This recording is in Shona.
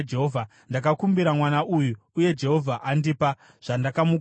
Ndakakumbira mwana uyu, uye Jehovha andipa zvandakamukumbira.